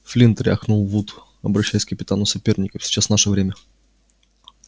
флинт рявкнул вуд обращаясь к капитану соперников сейчас наше время